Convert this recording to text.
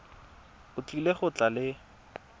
o tlile go tla le